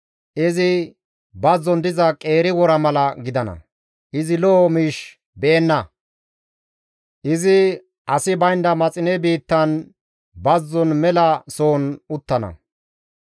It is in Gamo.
Izi bazzon diza qeeri wora mala gidana; izi lo7o miish be7enna; izi asi baynda maxine biittan bazzon mela sohon uttana.